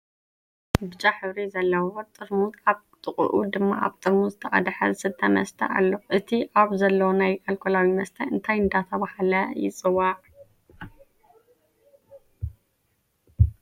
ብጫ ሕብሪ ዘለዎ ጥርሙዝ ኣብ ጥቅኡ ድማ ኣብ ጥርሙዝ ዝተቀደሓ ዝስተ መስተ አሉ። እቲ ኣብ ዘሎ ናይ ኣልኮላዊ መስተ እንታይ እናተባሃለ ይፅዋዕ?